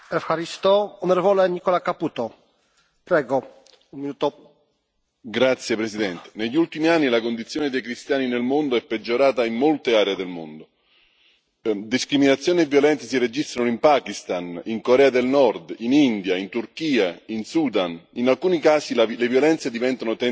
Signor Presidente, onorevoli colleghi, negli ultimi anni la condizione dei cristiani nel mondo è peggiorata in molte aree del mondo. Discriminazione e violenza si registrano in Pakistan, in Corea del Nord, in India, in Turchia, in Sudan, e in alcuni casi le violenze diventano tentativo di distruggere la presenza di un'intera comunità.